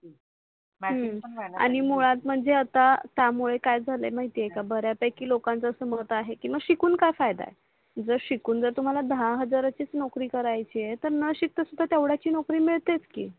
आणि मुळात म्हणजे आता त्या मूळे काय झाल आहे माहिती आहे बऱ्या पैकी लोकांचे अस मत आहे की मग शिकून काय फायदा आहे जर शिकून जर तुम्हाला दहा हजारचीच नोकरी कऱ्याची आहे तर नशिकता सुद्धा तेवड्याची नोकरी मिडतेच की